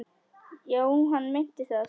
Já, hann meinti það.